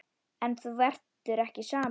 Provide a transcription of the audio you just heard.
En þú verður ekki samur.